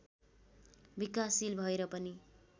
विकासशील भएर पनि